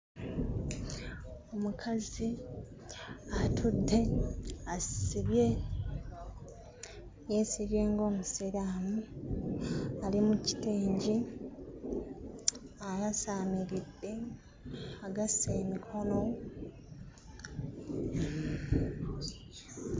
Omukazi atudde asibye yeesibye ng'Omusiraamu ali mu kitengi ayasaamiridde agasse emikono.